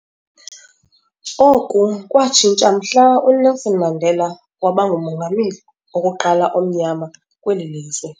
Oku kwatshintsha mhla uNelson Mandela waba nguMongameli wokuqala omnyama kweli lizwe.